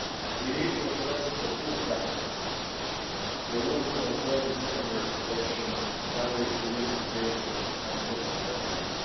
We need to address the pull factors, the rules concerning secondary protection, family reunification and social benefits.